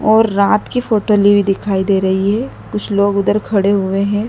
और रात की फोटो ली हुई दिखाई दे रही है। कुछ लोग उधर खड़े हुए हैं।